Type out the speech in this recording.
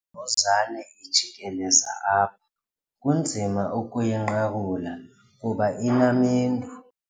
Le mbuzane ijikeleza apha kunzima ukuyinqakula kuba inamendu.